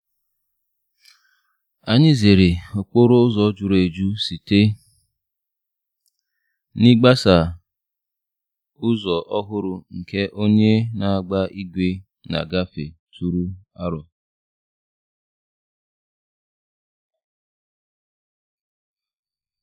Anyị zere okporo ụzọ jụrụ ejụ site n'ịgbaso ụzọ ọhụrụ nke onye na-agba ígwè na-agafe tụrụ aro.